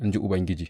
in ji Ubangiji.